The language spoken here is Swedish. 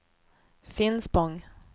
Finspång